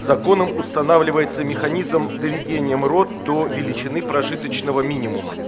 законом устанавливается механизм доведения мрот до величины прожиточного минимума